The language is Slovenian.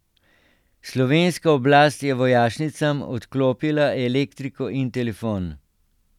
Slovenska oblast je vojašnicam odklopila elektriko in telefon.